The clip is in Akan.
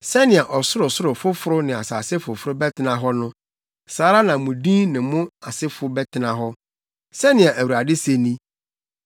“Sɛnea ɔsorosoro foforo ne asase foforo bɛtena hɔ no, saa ara na mo din ne mo asefo bɛtena hɔ,” sɛnea Awurade se ni.